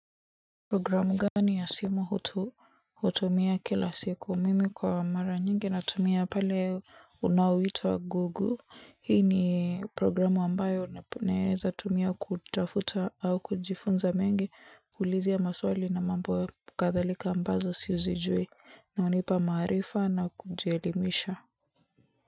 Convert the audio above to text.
Programu gani ya simu hutumia kila siku, mimi kwa mara nyingi natumia pale unaoitwa Google, hii ni programu ambayo unaweza tumia kutafuta au kujifunza mengi, kuuliza maswali na mambo ya kadhalika ambazo sizijui na hunipa maarifa na kujielimisha.